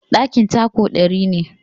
Ɗakin taku ɗari ne.